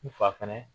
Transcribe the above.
N fa fɛnɛ